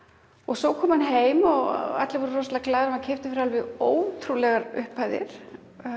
svo kom hann heim og allir voru rosalega glaðir hann var keyptur fyrir ótrúlegar upphæðir